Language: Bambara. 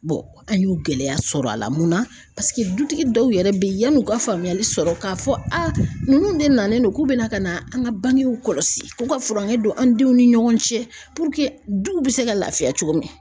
an y'u gɛlɛya sɔrɔ a la munna paseke dutigi dɔw yɛrɛ bɛ ye yann'u ka faamuyali sɔrɔ k'a fɔ ninnu de nalen do k'u bɛna ka na an ka bangew kɔlɔsi k'u ka furankɛ don an denw ni ɲɔgɔn cɛ duw bɛ se ka laafiya cogo min na.